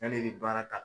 Yan'i bɛ baara ta